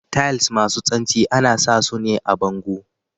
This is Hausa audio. Tiles masu santsi ana sa sune a bango.